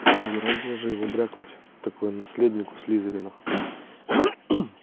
угораздило же его брякнуть такое наследнику слизерина